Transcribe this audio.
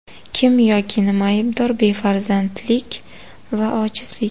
Kim yoki nima aybdor: befarzandlik va ojizlik.